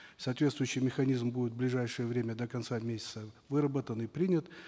соответствующий механизм будет в ближайшее время до конца месяца выработан и принят